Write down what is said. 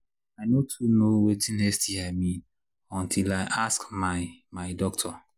i no too know watin sti mean until i ask my my doctor